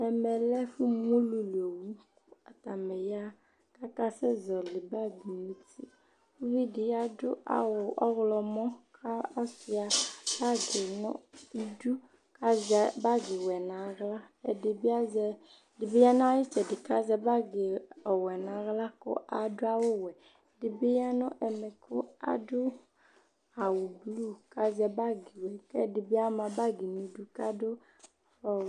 ɛmɛ lɛ ɛfu mu ulu li owu atani ya k'aka sɛ zɔli bag no uti uvi di adu awu ɔwlɔmɔ kò ɔsua bag no idu k'azɛ bag wɛ n'ala ɛdibi azɛ ɛdi bi ya n'ayi itsɛdi k'azɛ bag ɔwɛ n'ala kò adu awu wɛ ɛdi bi ya no ɛmɛ kò adu awu blu k'azɛ bag k'ɛdi bi ama bag n'idu k'ado ɔwɛ